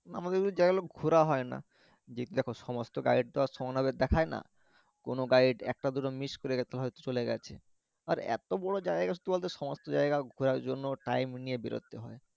আমাদের ওই জাইগা গুলো ঘুরা হইনা দ্যাখো সমস্ত guide তো আর সমান ভাবে দ্যাখাই না কোনও guide একটা দুটো miss করে হইত হইত চলে গেছে আর এতো বড়ো জাইগা কি বলত সমস্ত জাইগা ঘুরার জন্য time নিয়ে বেরাতে হয়